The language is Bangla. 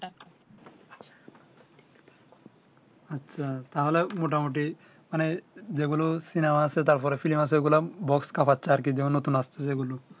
আচ্ছা তাহলে মোটা মুটি মানে যে গুলো সিনেমা আছে তার পরে film আছে box কাঁপাচ্ছে আর কি নতুন আসতেছে ঐ গুলো